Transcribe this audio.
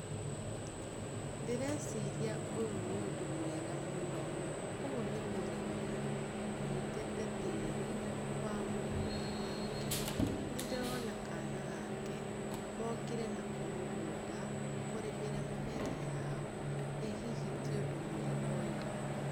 Ndĩreciria ũyũ nĩũndũ mwega mũno. Ũyũ nĩ mũrĩmi ũnyitĩte tĩri wa mũgũnda wake. Nĩ ndĩrona kana gake, mokire nako mũgũnda kũrĩmĩra mĩmera yao. Ĩ hihi ti ũndũ mwega ũyũ.